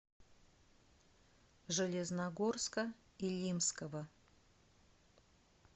железногорска илимского